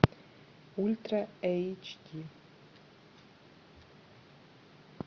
ультра эйч ди